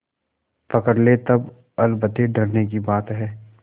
पकड़ ले तब अलबत्ते डरने की बात है